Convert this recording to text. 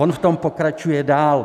On v tom pokračuje dál.